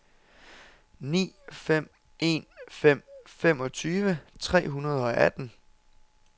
ni fem en fem femogtyve tre hundrede og atten